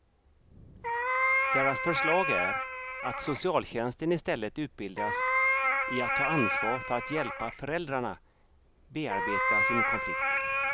Deras förslag är att socialtjänsten istället utbildas i att ta ansvar för att hjälpa föräldrarna bearbeta sin konflikt.